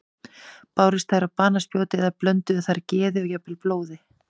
Bárust þær á banaspjót eða blönduðu þær geði og jafnvel blóði?